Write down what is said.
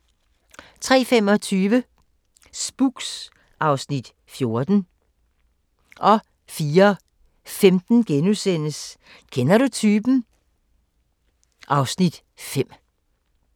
03:25: Spooks (Afs. 14) 04:15: Kender du typen? (Afs. 5)*